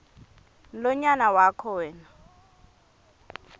mlonyana wakho wena